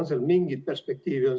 On seal mingit perspektiivi?